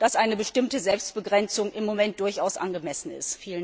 dass eine bestimmte Selbstbegrenzung im Moment durchaus angemessen ist.